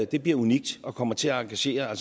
det bliver unikt og kommer til at engagere